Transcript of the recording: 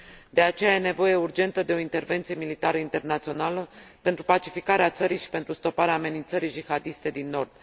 De aceea, este nevoie urgentă de o intervenție militară internațională, pentru pacificarea țării și pentru stoparea amenițării jihadiste din nord.